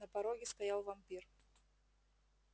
на пороге стоял вампир